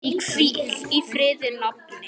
Hvíl í friði, nafni.